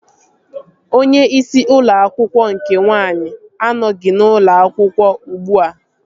Onye isi ụlọ akwụkwọ nke nwaanyị anọghị n'ụlọ akwụkwọ ugbua